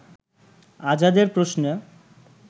আজাদের প্রশ্নে